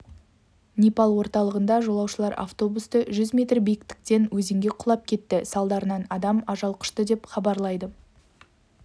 непал орталығында жолаушылар автобусы жүз метр биіктіктен өзенге құлап кетті салдарынан адам ажал құшты деп хабарлайды